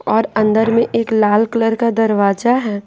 औरअंदर में एक लाल कलर का दरवाजा है।